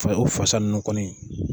Fa ye o fasa nunnu kɔni